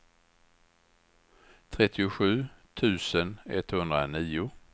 trettiosju tusen etthundranio